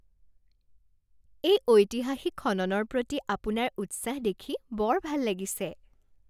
এই ঐতিহাসিক খননৰ প্ৰতি আপোনাৰ উৎসাহ দেখি বৰ ভাল লাগিছে!